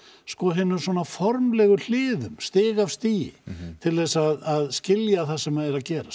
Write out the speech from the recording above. hinum formlegu hliðum stig af stigi til að skilja það sem er að gerast